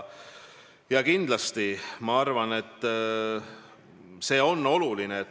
Kindlasti on see oluline.